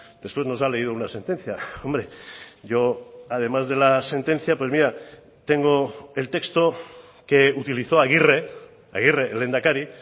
después nos ha leído una sentencia hombre yo además de la sentencia tengo el texto que utilizó aguirre aguirre el lehendakari